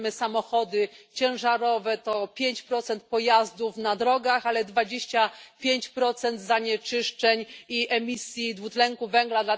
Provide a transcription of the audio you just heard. Jak wiemy, samochody ciężarowe to 5 pojazdów na drogach, ale 25 zanieczyszczeń i emisji dwutlenku węgla.